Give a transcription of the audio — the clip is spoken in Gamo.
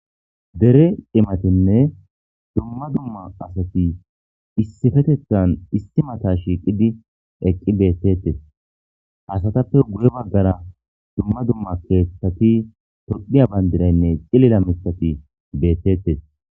Dere imatinne dumma dumma asati issifetethan issi mata shiiqidi eqqi beettettes asatappe guye baggara dumma dumma keeththati topiya bayndiraynne xilila mitati beettettes.